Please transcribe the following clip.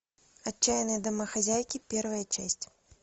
отчаянные домохозяйки первая часть